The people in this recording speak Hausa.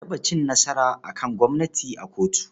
An taɓa cin nasara a kan gwamnati a kotu.